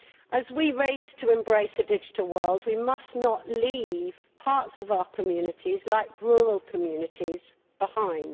As we race to embrace a digital world, we must not leave parts of our communities like rural communities behind.